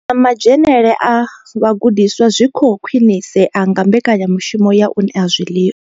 Na madzhenele a vhagudiswa zwi khou khwinisea nga mbekanya mushumo ya u ṋea zwiḽiwa.